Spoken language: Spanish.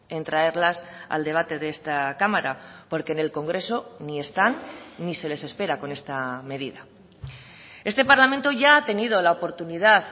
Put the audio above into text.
en traerlas al debate de esta cámara porque en el congreso ni están ni se les espera con esta medida este parlamento ya ha tenido la oportunidad